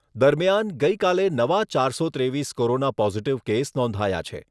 દરમિયાન ગઈકાલે નવા ચારસો ત્રેવીસ કોરોના પોઝીટીવ કેસ નોંધાયા છે.